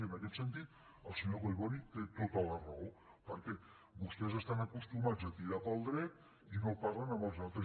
i en aquest sentit el senyor collboni té tota la raó perquè vostès estan acostumats a tirar pel dret i no parlen amb els altres